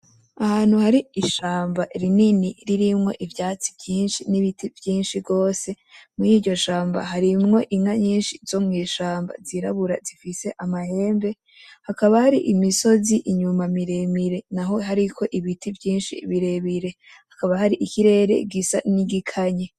Ahantu hari ishamba rinini ririmwo ivyatsi vyinshi n'ibiti vyinshi gose, muri iryo shamba harimwo inka nyinshi zo mw'ishamba zirabura zifise amahembe, hakaba hari imisozi inyuma miremire naho hariko ibiti vyinshi birebire, hakaba hari ibirere gisa n'igikanye.